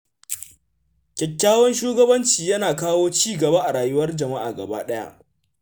Kyakkyawan shugabanci yana kawo ci gaba a rayuwar jama’a gabaɗaya.